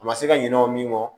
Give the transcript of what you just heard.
A ma se ka ɲinɛ o min kɔ